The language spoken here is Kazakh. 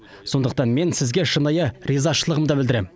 сондықтан мен сізге шынайы ризашылығымды білдіремін